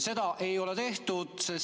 Seda ei ole tehtud.